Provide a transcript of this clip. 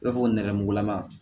I b'a fɔ nɛrɛmugulama